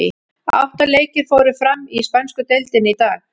Átta leikir fóru fram í spænsku deildinni í dag.